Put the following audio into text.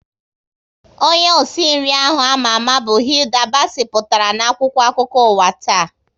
Onye osi nri ahụ ama ama bụ Hilda Bacci pụtara na akwụkwọ akụkọ ụwa taa